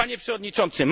Panie przewodniczący!